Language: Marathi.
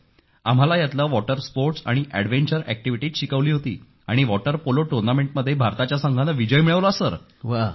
आम्हाला ह्यातील वॉटर स्पोर्ट्स आणि एडवेंचर ऍक्टिव्हिटीज शिकवली होती आणि वॉटर पोलो टूर्नामेंटमध्ये भारताच्या संघाने विजय मिळवला सर